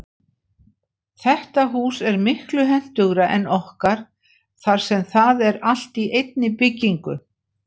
Þetta hús er miklu hentugra en okkar þar sem það er allt í einni byggingu.